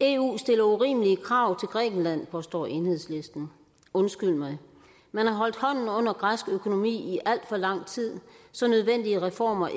eu stiller urimelige krav til grækenland påstår enhedslisten undskyld mig man har holdt hånden under græsk økonomi i alt for lang tid så nødvendige reformer